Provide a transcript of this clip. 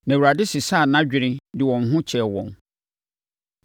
Na Awurade sesaa nʼadwene de wɔn ho kyɛɛ wɔn.